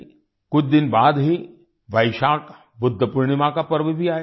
कुछ दिन बाद ही वैशाख बुध पूर्णिमा का पर्व भी आएगा